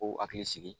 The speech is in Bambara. K'u hakili sigi